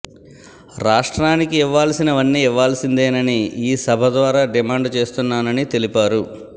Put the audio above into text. రాష్ట్రానికి ఇవ్వాల్సినవన్నీ ఇవ్వాల్సిందేనని ఈ సభ ద్వారా డిమాండ్ చేస్తున్నానని తెలిపారు